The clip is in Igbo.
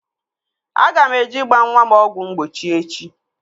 Aga m eje ịgba nwa m ọgwụ mgbochi echi